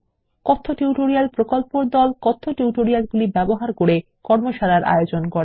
কথ্য টিউটোরিয়াল প্রকল্পর দল কথ্য টিউটোরিয়ালগুলি ব্যবহার করে কর্মশালার আয়োজন করে